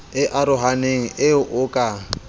e arohaneng eo o ka